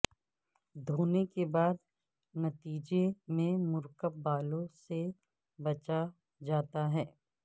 دھونے کے بعد نتیجے میں مرکب بالوں سے بچا جاتا ہے